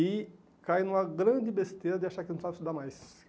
E caí numa grande besteira de achar que não precisava estudar mais.